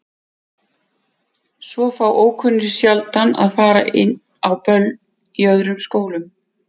Svo fá ókunnugir sjaldan að fara inn á böll í öðrum skólum.